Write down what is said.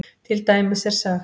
Til dæmis er sagt